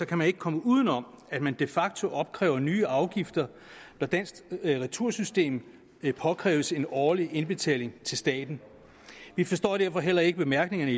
kan man ikke komme uden om at man de facto opkræver nye afgifter da dansk retursystem afkræves en årlig indbetaling til staten vi forstår derfor heller ikke bemærkningerne